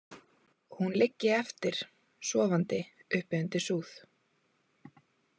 Og hún liggi eftir, sofandi uppi undir súð.